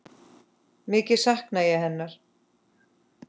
Mikið sakna ég hennar.